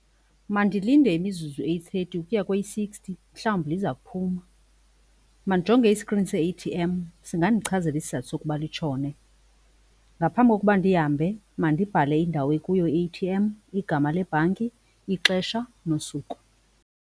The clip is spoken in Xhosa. Mandilinde imizuzu eyi-thirty ukuya kweyi-sixty, mhlawumbi liza kuphuma. Mandijonge i-screen se-A_T_M singandichazela isizathu sokuba litshone. Ngaphambi kokuba ndihambe mandibhale indawo ekuyo i-A_T_M, igama lebhanki, ixesha nosuku.